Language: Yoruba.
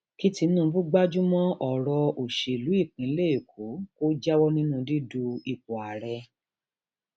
kí tinubu gbájú mọ ọrọ òṣèlú ìpínlẹ èkó kó jáwọ nínú dídu ipò ààrẹ